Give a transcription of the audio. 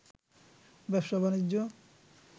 ব্যবসা-বাণিজ্য